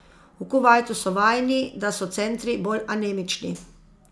V Kuvajtu so vajeni, da so centri bolj anemični.